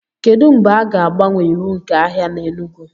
kedu mgbe a ga-agbanwe iwu nke ahịa na enugu